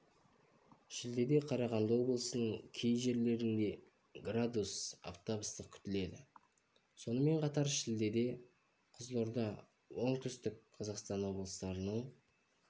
шілдеде қарағанды облысының кей жерлерінде градус аптап ыстық күтіледі сонымен қатар шілдеде кызылорда оңтүстік қазақстан облыстарының